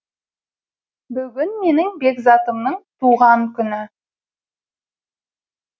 бүгін менің бекзатымның туған күні